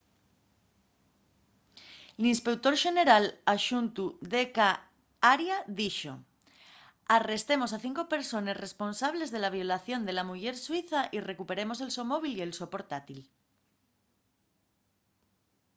l'inspeutor xeneral axuntu d k arya dixo: arrestemos a cinco persones responsables de la violación de la muyer suiza y recuperemos el so móvil y el so portátil